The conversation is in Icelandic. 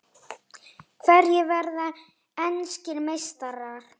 Hverjir verða enskir meistarar?